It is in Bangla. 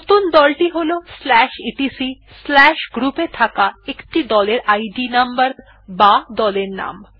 নতুন দল টি হল etcgroup এ থাকা একটি দলের ইদ নম্বর বা দলের নাম